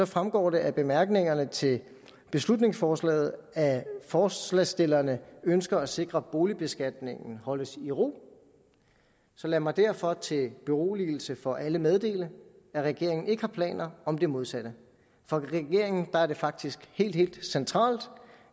fremgår det af bemærkningerne til beslutningsforslaget at forslagsstillerne ønsker at sikre at boligbeskatningen holdes i ro lad mig derfor til beroligelse for alle meddele at regeringen ikke har planer om det modsatte for regeringen er det faktisk helt helt centralt